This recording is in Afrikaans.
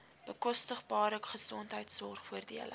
bekostigbare gesondheidsorg voordele